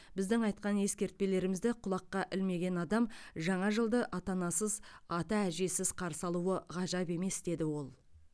біздің айтқан ескертпелерімізді құлаққа ілмеген адам жаңа жылды ата анасыз ата әжесіз қарсы алуы ғажап емес деді ол